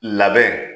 Labɛn